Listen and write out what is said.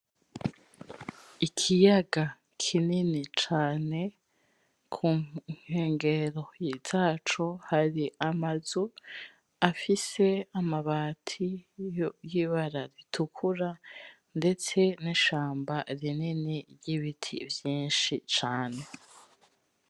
Ikiyaga kinini cane kunkengero zaco hari amazu afise amabati yibara ritukura ndetse nishamba rinini ryibiti vyinshi cane